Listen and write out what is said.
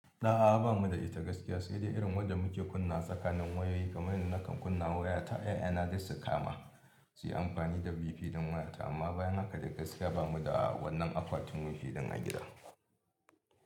A'a ba mu da ita gaskiya sai dai irin wadda muke kunna tsakanin wayoyi kamar da nakan kunna waya ta yana da sakama, su yi amfani da wifi don wayata amma bayan haka da gaskiya ba mu da wannan akwatin wifi ɗin a gida.